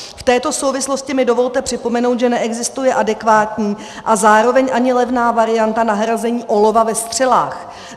V této souvislosti mi dovolte připomenout, že neexistuje adekvátní a zároveň ani levná varianta nahrazení olova ve střelách.